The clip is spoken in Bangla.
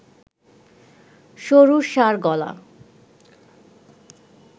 সরু ঘাড়-গলা